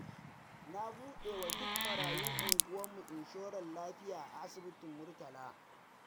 Na buɗewa duk marayun unguwarmu inshorar lafiya a asibitin murtala.